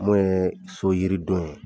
Mun ye so yiridon ye